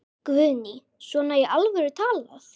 Guðný: Svona í alvöru talað?